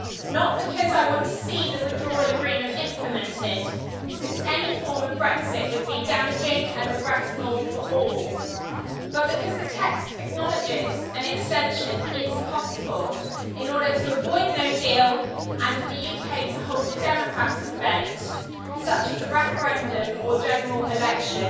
not because I want to see the Withdrawal Agreement implemented, since any form of Brexit would be damaging and regrettable for all, but because the text acknowledges an extension is possible in order to avoid no deal and for the UK to hold a democratic event, such as a referendum or general election,